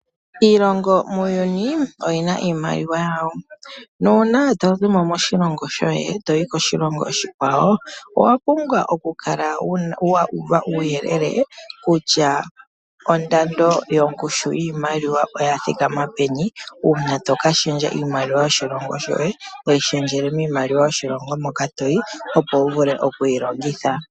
Iilongo muuyuni oyina iimaliwa yawo nuuna tozimo moshilongo shoye toyi koshilongo oshikwawo owa pumbwa oku kala wa uva uuyelele kutya ondando yongushu yiimaliwa oya thikama peni, uuna toka shendja iimaliwa yoshilongo shoye toyi shendjele miimaliwa yoshilongo moka toyi, opo wu vule oku yi longitha.